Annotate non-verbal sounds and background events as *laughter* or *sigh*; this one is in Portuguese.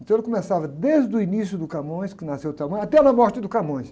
Então ele começava desde o início do Camões, que nasceu o, *unintelligible* até a morte do Camões.